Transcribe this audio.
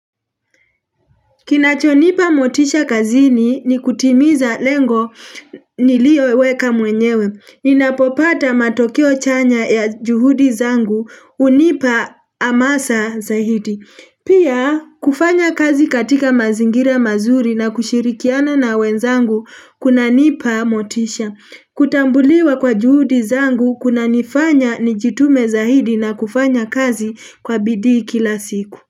Kinachonipa motisha kazini ni kutimiza lengo niliyoweka mwenyewe. Ninapopata matokeo chanya ya juhudi zangu hunipa hamasa zaidi. Pia kufanya kazi katika mazingira mazuri na kushirikiana na wenzangu kunanipa motisha. Kutambuliwa kwa juhudi zangu kunanifanya nijitume zaidi na kufanya kazi kwa bidii kila siku.